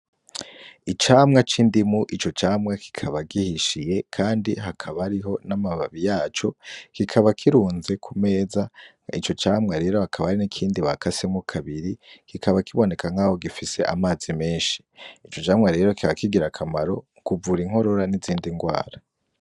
Icamwa c’indimu ,ico camwa kikaba gihishiye Kandi hakaba hariho n’amababi yaco. Kikaba kirunze kumeza ,ico camwa rero hakaba hari n’ikindi bakase kabiri kikaba kiboneka nkaho gifise amazi menshi . Ico camwa rero kikaba kigira akamaro kuvura inkorora n’izindi ndwara.